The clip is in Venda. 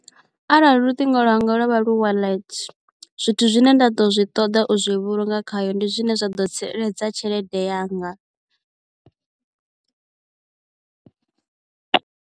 Arali luṱingo lwanga lwa vha lu wallet zwithu zwine nda ḓo zwi ṱoḓa u zwi vhulunga khayo ndi zwine zwa ḓo tsireledza tshelede yanga